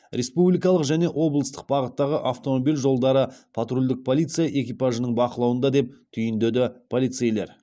республикалық және облыстық бағыттағы автомобиль жолдары патрульдік полиция экипажының бақылауында деп түйіндеді полицейлер